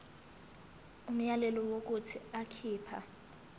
umyalelo wokuthi akhipha